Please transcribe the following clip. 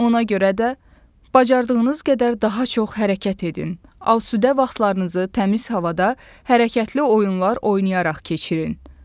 Ona görə də bacardığınız qədər daha çox hərəkət edin, alsüdə vaxtlarınızı təmiz havada hərəkətli oyunlar oynayaraq keçirin.